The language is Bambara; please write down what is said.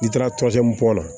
N'i taara la